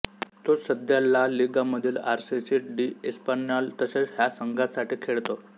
तो सध्या ला लीगामधील आर सी डी एस्पान्यॉल तसेच ह्या संघांसाठी खेळतो